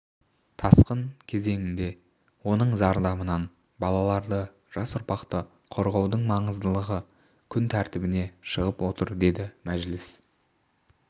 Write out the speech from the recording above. тасқыны кезеңінде оның зардабынан балаларды жас ұрпақты қорғаудың маңыздылығы күн тәртібіне шығып отыр деді мәжіліс